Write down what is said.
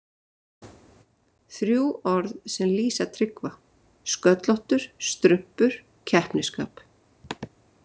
Þrjú orð sem lýsa Tryggva: Sköllóttur, strumpur, keppnisskap.